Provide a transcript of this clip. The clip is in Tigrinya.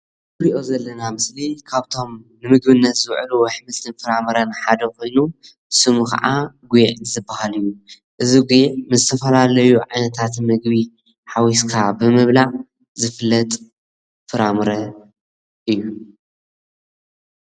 እዚ እንሪኦ ዘለና ምስሊ ካብቶም ንምግብነት ዝውሕሉ ኣሕምልቲን ፍራምረን ሓደ ኮይኑ ስሙ ካዓ ጒዕ ዝባሃል እዩ፡፡ እዚ ጒዕ ምስ ዝተፈላለዩ ዓይነታት ምግቢ ሓዊስካ ብምብላዕ ዝፍለጥ ፍራምረ እዩ፡፡